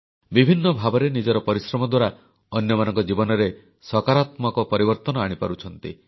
ବିଭିନ୍ନ ଭାବରେ ନିଜର ପରିଶ୍ରମ ଦ୍ୱାରା ଅନ୍ୟମାନଙ୍କ ଜୀବନରେ ସକାରାତ୍ମକ ପରିବର୍ତ୍ତନ ଆଣିପାରୁଛନ୍ତି